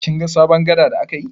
Kin ga sabon gada da aka yi?